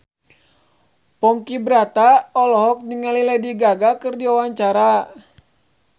Ponky Brata olohok ningali Lady Gaga keur diwawancara